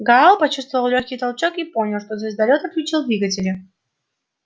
гаал почувствовал лёгкий толчок и понял что звездолёт отключил двигатели